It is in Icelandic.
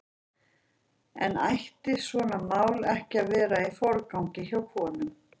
En ætti svona mál ekki að vera í forgangi hjá konum?